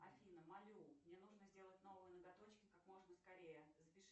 афина молю мне нужно сделать новые ноготочки как можно скорее запиши